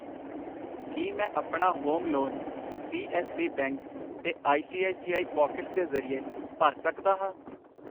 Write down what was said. ਕਿ ਮੈਂ ਆਪਣਾ home loan C S B bank ਤੇ I C I C I pockets ਦੇ ਜਰੀਏ ਭਰ ਸਕਦਾ ਹਾਂ ?